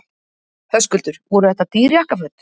Höskuldur: Voru þetta dýr jakkaföt?